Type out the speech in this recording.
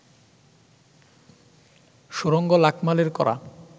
সুরঙ্গ লাকমালের করা